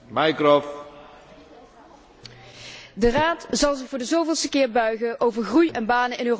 De Raad zal zich voor de zoveelste keer buigen over groei en banen in Europa, of beter gezegd, over het ontbreken daarvan.